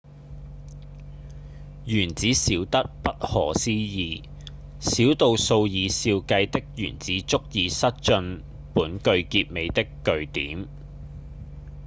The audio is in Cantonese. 原子小得不可思議小到數以兆計的原子足以塞進本句結尾的句點